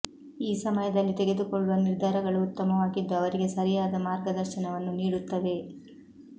ಈ ಸಮಯದಲ್ಲಿ ತೆಗೆದುಕೊಳ್ಳುವ ನಿರ್ಧಾರಗಳು ಉತ್ತಮವಾಗಿದ್ದು ಅವರಿಗೆ ಸರಿಯಾದ ಮಾರ್ಗದರ್ಶನವನ್ನು ನೀಡುತ್ತವೆ